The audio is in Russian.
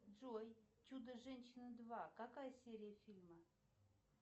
джой чудо женщина два какая серия фильма